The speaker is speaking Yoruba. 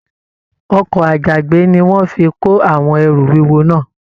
Ọkọ àjàgbé ní wọn fí kò àwọn ẹrú wúwo náà.